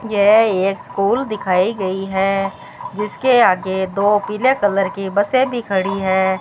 यह एक स्कूल दिखाई गई है जिसके आगे दो पीले कलर के बसे भी खड़ी है।